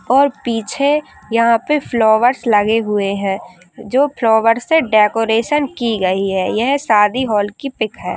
और पीछे यहाँ पर फ्लावर्स लगे हुए हैं जो फ्लॉवर से डेकोरेशन की गयी है। यह शादी हॉल की पिक है|